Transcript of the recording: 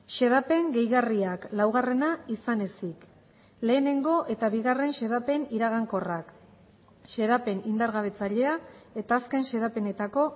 xedapen gehigarriak laugarrena izan ezik lehenengo eta bigarren xedapen iragankorrak xedapen indargabetzailea eta azken xedapenetako